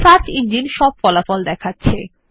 search engine সমস্ত ফলাফল দেখাচ্ছে